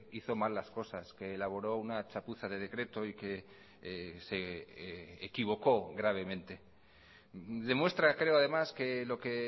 hizo mal las cosas que elaboró una chapuza de decreto y que se equivocó gravemente demuestra creo además que lo que